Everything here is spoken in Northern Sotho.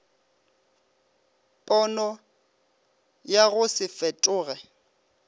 pono ya go se fetoge